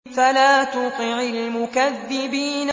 فَلَا تُطِعِ الْمُكَذِّبِينَ